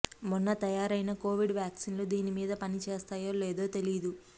మొన్న తయారైన కోవిడ్ వ్యాక్సిన్లు దీనిమీద పని చేస్తాయో లేదో తెలీదు